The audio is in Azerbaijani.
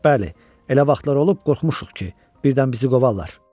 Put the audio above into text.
Bəli, elə vaxtlar olub qorxmuşuq ki, birdən bizi qovarlar.